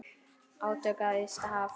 Átök við ysta haf.